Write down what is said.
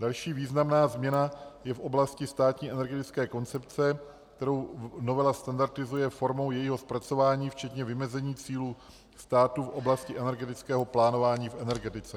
Další významná změna je v oblasti státní energetické koncepce, kterou novela standardizuje formou jejího zpracování včetně vymezení cílů státu v oblasti energetického plánování v energetice.